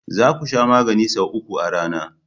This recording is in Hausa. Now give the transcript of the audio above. Za ku Sha maganin sau uku a rana.